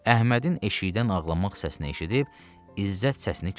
Əhmədin eşşəkdən ağlamaq səsini eşidib, İzzət səsini kəsdi.